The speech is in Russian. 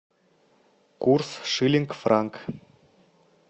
курс шиллинг франк